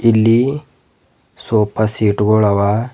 ಇಲ್ಲಿ sofa seat ಗೋಳ ಆವಾ.